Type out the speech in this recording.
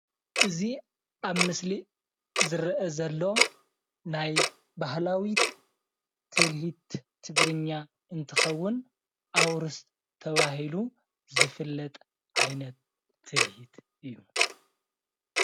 እዚ ኣብ ምስሊ ዝረአ ዘሎ ናይ ባህላዊ ትልሂት ትግርኛ እንትከውን ኣውርስ ተባሂሉ ዝፍለጥ ዓይነት ትልሂት እዩ፡፡